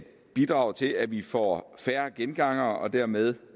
bidrager til at vi får færre gengangere og dermed